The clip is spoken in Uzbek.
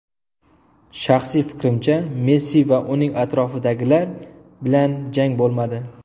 Shaxsiy fikrimcha, Messi va uning atrofidagilar bilan jang bo‘lmadi.